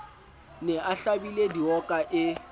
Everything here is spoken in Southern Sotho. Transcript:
ne a hlabile dioka e